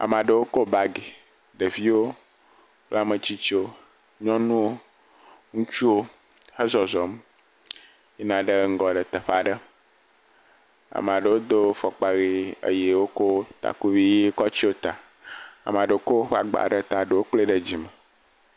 Ame aɖewo ko bagi. Ɖeviwo kple ame tsitsiwo. Nyɔnuwo, ŋutsuwo he zɔzɔm yina ɖe ŋgɔ le teƒe aɖe. Ame aɖewo do fɔkpa ʋi eye wokɔ tskuvi ʋi kɔ tso ta. Ame aɖewo kɔ woƒe agba ɖe ta eɖewo klae ɖe dzime.